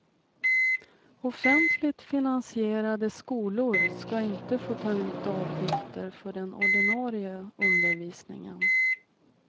Offentligt finansierade skolor ska inte få ta ut avgifter för den ordinarie undervisningen.